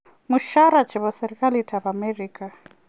Mushara chebo serikalit ab Amerika.